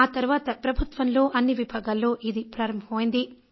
ఆ తర్వాత ప్రభుత్వంలో అన్ని విభాగాల్లో ఇది ప్రారంభమైంది